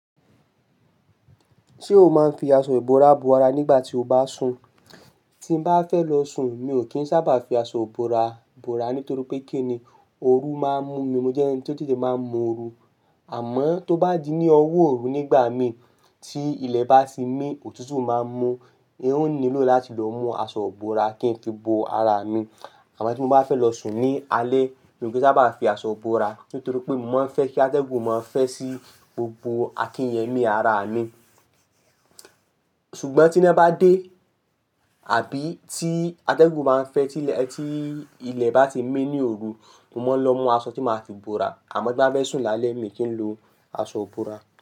Ṣé o máa ń fi aṣọ ìbora bo ara nígbà tí o bá n sùn? Tí mo bá fẹ́ lọ sùn, mi ò kí ń sábà fi aṣọ ìbora bora nítorí pé kí ni ooru máa ń mú mi. Mo jẹ́ ẹni tí ó tètè máa ń mu ooru. Àmọ́ tó bá di ní ọwọ́ ooru nígbà mi tí ilẹ̀ bá ti mi, òtútù máa ń mú. N ó nílò láti lọ mú aṣọ ìbora kí n fi bo ara mi. Àmọ́ tí mo bá fẹ́ lọ sùn ní alẹ́, mi ò kí ń sábà fi aṣọ bora nítorí pé mo máa ń fẹ́ kí atẹ́gùn máa fẹ́ sí gbogbo akíyẹ́mí ara mi. Ṣùgbọ́n tí iná bá dé àbí tí atẹ́gùn bá ń fẹ́ tí ilẹ̀, tí ilẹ̀ bá ti mí ní ooru, mo máa ń lọ mú aṣọ tí màá fi bora. Àmọ́ tí bá fẹ́ sùn lálẹ́, mi kì n lo aṣọ ìbora.